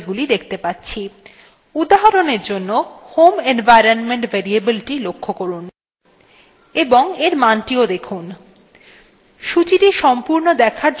উদাহরণের জন্য: home environment variable the লক্ষ্য করুন এবং for মানthe দেখুন